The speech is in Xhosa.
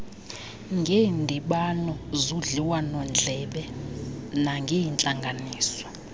ngeendibano zodliwanondlebe nangeentlanganiso